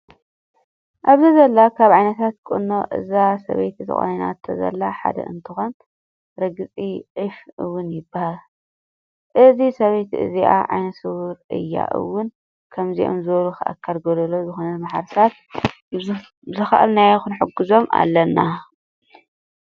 ኣብዚ ዘሎ ካብ ዓይነታት ቁኖ እዛ ሰበይቲ ተቆኒናቶ ዘላ ሓደ እንትኮን ርግፂ ዒፍ እውን ይበሃል። እዛ ሰበይቲ እዚኣ ዓይነስው እያ እወን። ከምዞም ዝበሉ ኣካለ ጎደሎ ዝኮኑ ማሕበረሰባት ብዝካኣልናዮ ክንሕግዞም ኣለና።